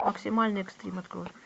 максимальный экстрим открой